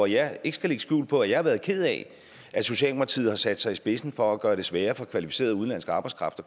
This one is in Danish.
jeg ikke lægge skjul på at jeg har været ked af at socialdemokratiet har sat sig i spidsen for at gøre det sværere for kvalificeret udenlandsk arbejdskraft